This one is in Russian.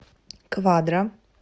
квадро